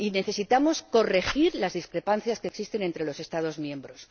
Y necesitamos corregir las discrepancias que existen entre los Estados miembros.